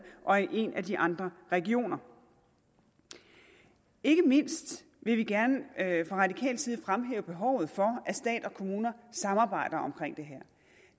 og i en af de andre regioner ikke mindst vil vi gerne fra radikal side fremhæve behovet for at stat og kommuner samarbejder om